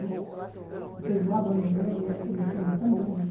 Né não teve mágoa nenhuma, em absoluto, somos amigos.